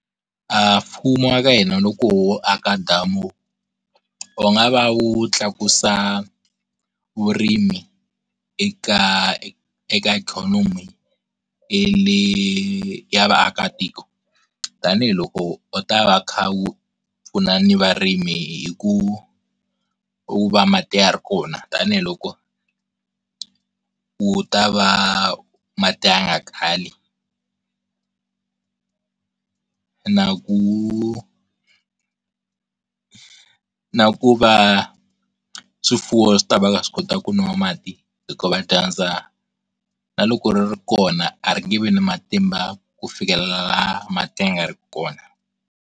A mfumo waka hina loko wo aka damu wu nga va wu tlakusa vurimi eka eka ikhonomi le ya vaakatiko tanihiloko u ta va u kha wu pfuna ni varimi hi ku u va mati ya ri kona, tanihiloko wu ta va mati ya nga kali, na ku, na ku va swifuwo swi tava swi kota ku nwa mati hikuva dyandza na loko ri ri kona a ri nge vi na matimba ku fikelela laha mati ya nga ri ku kona.